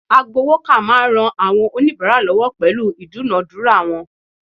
Agbowoka naa n ran awon onibara lowo pelu idunadura won